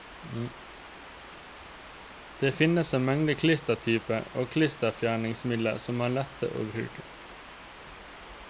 Det finnes en mengde klistertyper og klisterfjerningsmidler som er lette å bruke.